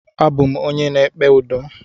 Abụ m onye na-ekpe udo.